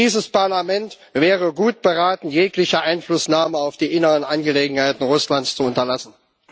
Dieses Parlament wäre gut beraten, jegliche Einflussnahme auf die inneren Angelegenheiten Russlands zu unterlassen.